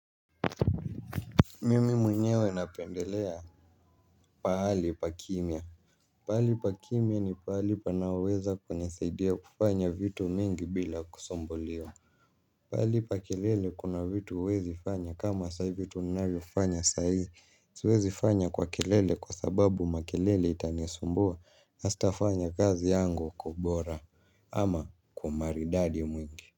Mimi mwenyewe napendelea pahali pa kimya. Pahali pa kimya ni pahali panaoweza kunisaidia kufanya vitu mingi bila kusumbuliwa pahali pa kelele kuna vitu huwezi fanya kama sahii vitu tunavyofanya sahii. Siwezi fanya kwa kelele kwa sababu makelele itanisumbua. Na sitafanya kazi yangu kwa ubora ama kwa maridadi mwingi.